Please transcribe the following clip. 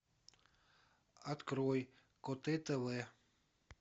открой коте тв